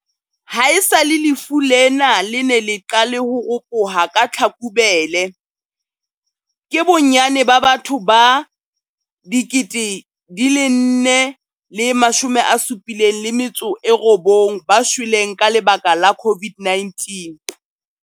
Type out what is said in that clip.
Haesale lefu lena le ne le qale ho ropoha ka Tlhakubele, ke bonnyane ba batho ba 4 079 ba shweleng ka lebaka la COVID-19.